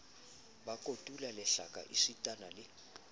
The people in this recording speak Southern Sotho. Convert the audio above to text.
ba kotula lehlaka esitana le